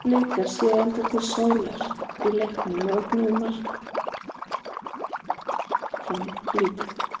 Blikar sáu aldrei til sólar í leiknum og ógnuðu mark Fram lítið.